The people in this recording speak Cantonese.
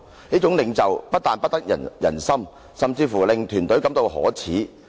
這樣的領袖，一定不得人心"，甚至會令團隊感到可耻。